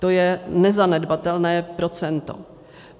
To je nezanedbatelné procento.